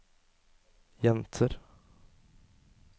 jenter